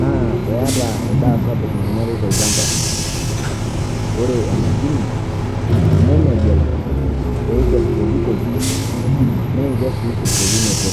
naa eata endaa sapuk naing'uari tolchamba. Ore emashini nemegel eikes pokitoki neeikes sii tesiokinoto.